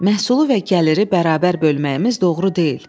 Məhsulu və gəliri bərabər bölməyimiz doğru deyil.